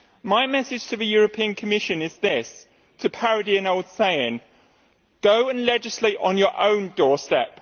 My message to the European Commission is this, to parody an old saying go and legislate on your own doorstep.